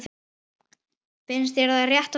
Finnst þér það rétt tala?